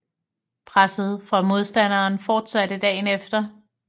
Presset fra modstanderen fortsatte dagen efter